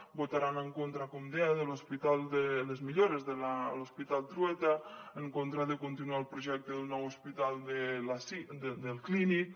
votaran en contra com deia de les millores de l’hospital trueta en contra de continuar el projecte del nou hospital del clínic